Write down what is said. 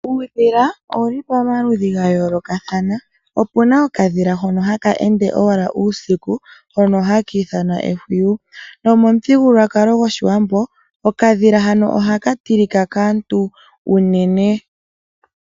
Uudhila owu li pamaludhi ga yoolokathana. Opu na okadhila hono haka ende owala uusiku hono haka ithanwa ehwiyi. Momuthigululwakalo gOshiwambo, okadhila hano ohaka tilika kaantu unene.